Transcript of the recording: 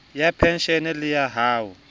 ya penshene le ya ho